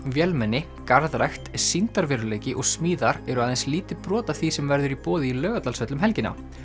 vélmenni garðrækt sýndarveruleiki og smíðar eru aðeins lítið brot af því sem verður í boði í Laugardalshöll um helgina